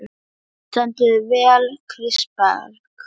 Þú stendur þig vel, Kristberg!